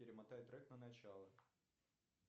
перемотай трек на начало